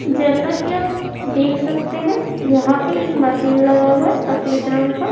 जैसा की आप देख सकते हैं यहां पे एक मशीन लगा हुआ है सफेद रंग का।